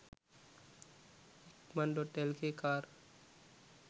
ikman.lk car